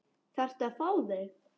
Þarftu að fá þau?